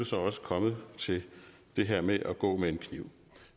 så også kommet til det her med at gå med en kniv